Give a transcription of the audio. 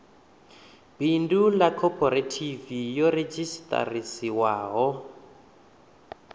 bindu ḽa khophorethivi yo redzhisiṱarisiwaho